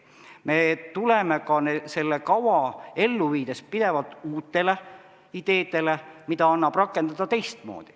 Me tuleme ka seda kava ellu viies pidevalt uutele ideedele, mida annab rakendada teistmoodi.